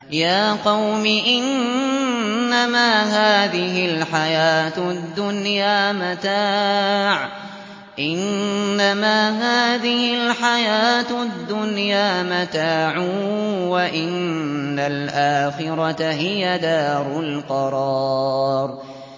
يَا قَوْمِ إِنَّمَا هَٰذِهِ الْحَيَاةُ الدُّنْيَا مَتَاعٌ وَإِنَّ الْآخِرَةَ هِيَ دَارُ الْقَرَارِ